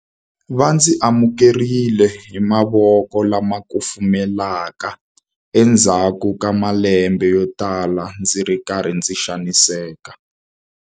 Va ndzi amukerile hi mavoko lama kufumelaka endzhaku ka malembe yotala ndzi ri karhi ndzi xaniseka.